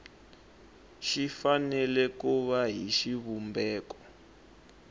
fanele ku va hi xivumbeko